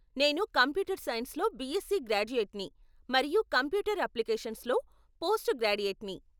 నేను కంప్యూటర్ సైన్స్లో బిఎస్సీ గ్రాడ్యుయేట్ని, మరియు కంప్యూటర్ అప్లికేషన్స్లో పోస్ట్ గ్రాడ్యుయేట్ని.